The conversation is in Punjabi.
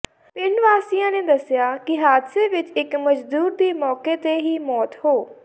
ਪਿੰਡ ਵਾਸੀਆਂ ਨੇ ਦੱਸਿਆ ਕਿ ਹਾਦਸੇ ਵਿੱਚ ਇੱਕ ਮਜ਼ਦੂਰ ਦੀ ਮੌਕੇ ਤੇ ਹੀ ਮੌਤ ਹੋ